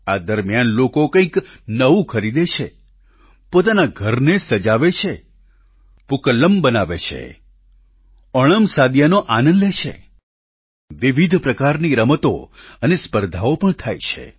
આ દરમિયાન લોકો કંઈક નવું ખરીદે છે પોતાના ઘરને સજાવે છે પૂકલ્લમ બનાવે છે ઓણમસાદિયાનો આનંદ લે છે વિવિધ પ્રકારની રમતો અને સ્પર્ધાઓ પણ થાય છે